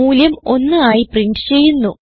മൂല്യം 1 ആയി പ്രിന്റ് ചെയ്യുന്നു